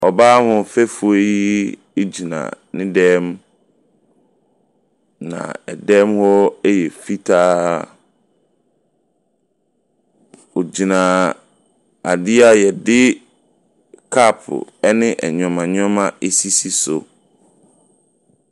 Ɔbaa ahoɔfɛfoɔ yi gyina ne dan mu, na dan mu hɔ yɛ fitaa. Ɔgyina adeɛ a yɛde cup ne nneɛma nneɛma asisi so.